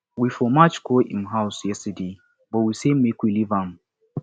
we for march go im house yesterday but we say make we leave am